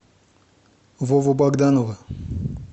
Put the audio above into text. вову богданова